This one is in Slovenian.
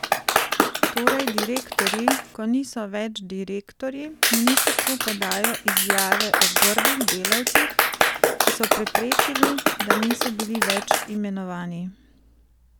Torej direktorji, ko niso več direktorji, ministrstvu podajo izjave o grdih delavcih, ki so preprečili, da niso bili več imenovani?